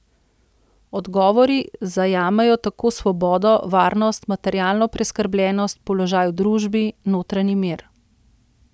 Odgovori zajamejo tako svobodo, varnost, materialno preskrbljenost, položaj v družbi, notranji mir ...